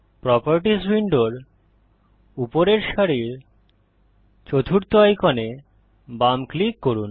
properties উইন্ডোর উপরের সারির চতুর্থ আইকনে বাম ক্লিক করুন